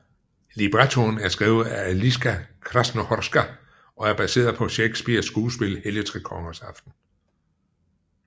Librettoen er skrevet af Eliska Krásnohorská og er baseret på Shakespeares skuespil Helligtrekongersaften